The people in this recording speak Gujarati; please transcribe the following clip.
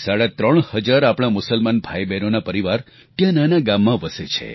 લગભગ સાડા ત્રણ હજાર આપણા મુસલમાન ભાઈબહેનોના પરિવાર ત્યાં નાના ગામમાં વસે છે